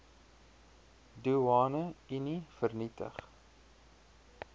doeane unie vernietig